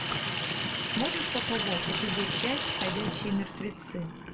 можешь показать эпизод пять ходячие мертвецы